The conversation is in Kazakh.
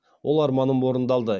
ол арманым орындалды